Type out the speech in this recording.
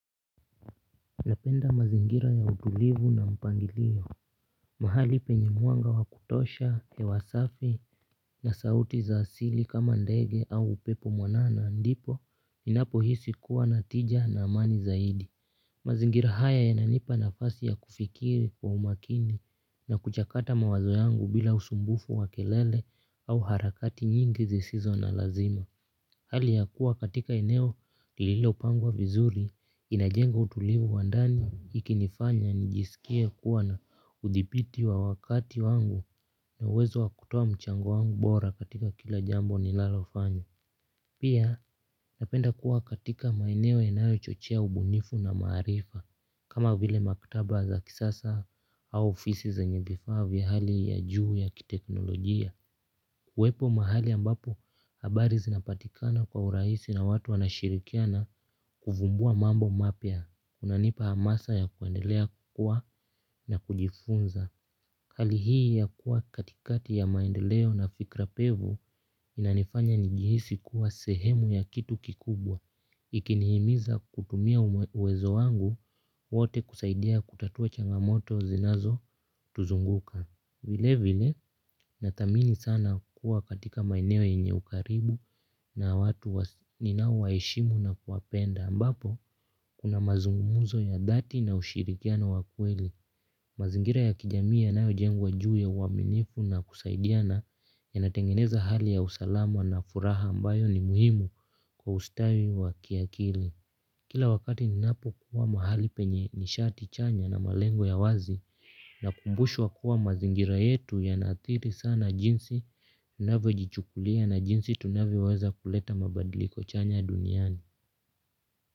Napenda mazingira ya utulivu na mpangilio. Mahali penye mwanga wa kutosha, hewa safi na sauti za asili kama ndege au upepo mwanana ndipo ninapohisi kuwa na tija na amani zaidi. Mazingira haya yananipa nafasi ya kufikiri kwa umakini na kuchakata mawazo yangu bila usumbufu wa kelele au harakati nyingi zisizo na lazima. Hali ya kuwa katika eneo lililopangwa vizuri inajenga utulivu wa ndani ikinifanya nijisikie kuwa na udhipiti wa wakati wangu na uwezo wa kutoa mchango wangu bora katika kila jambo ninalofanya. Pia napenda kuwa katika maeneo yanayo chochea ubunifu na maarifa kama vile maktaba za kisasa au ofisi zenye vifaa vya hali ya juu ya kiteknolojia. Kuwepo mahali ambapo habari zinapatikana kwa urahisi na watu wanashirikiana kuvumbua mambo mapya. Kunanipa hamasa ya kuendelea kukua na kujifunza. Hali hii ya kuwa katikati ya maendeleo na fikra pevu inanifanya nijihisi kuwa sehemu ya kitu kikubwa. Ikinihimiza kutumia uwezo wangu wote kusaidia kutatua changamoto zinazotuzunguka. Vile vile, nathamini sana kuwa katika maeneo inye ukaribu na watu ninaowaheshimu na kuwapenda. Ambapo, kuna mazungumuzo ya dhati na ushirikiano wa kweli. Mazingira ya kijamii yanayojengwa juu ya uaminifu na kusaidiana yanatengeneza hali ya usalama na furaha ambayo ni muhimu kwa ustawi wa kiakili. Kila wakati ninapokuwa mahali penye nishati chanya na malengo ya wazi nakumbushwa kuwa mazingira yetu yanaathiri sana jinsi unavyojichukulia na jinsi tunavyoweza kuleta mabadiliko chanya duniani.